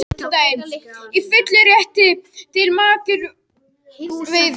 Í fullum rétti til makrílveiða